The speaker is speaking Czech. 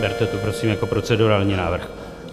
Berte to prosím jako procedurální návrh.